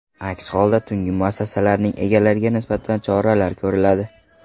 Aks holda tungi muassasalarning egalariga nisbatan choralar ko‘riladi.